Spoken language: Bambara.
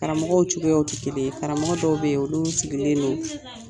Karamɔgɔw cogoyaw tɛ kelen ye karamɔgɔ dɔw bɛ yen olu sigilen don